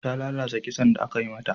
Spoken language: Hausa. Ta lalata kitson da aka yi mata.